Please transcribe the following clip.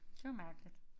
Det var mærkeligt